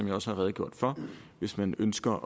jeg også har redegjort for hvis man ønsker